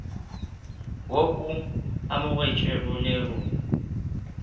wo o amogetšwego le go